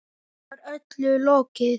Nú var öllu lokið.